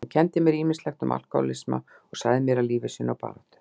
Hann kenndi mér ýmislegt um alkohólisma og sagði mér af lífi sínu og baráttu.